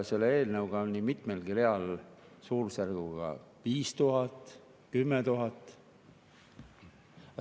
Selle eelnõu kohaselt on nii mitmelgi real suurusjärgus 5000, 10 000.